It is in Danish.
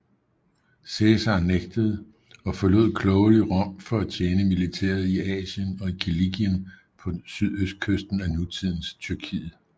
Cæsar nægtede og forlod klogelig Rom for at tjene militæret i Asien og i Kilikien på sydøstkysten af nutidens Tyrkiet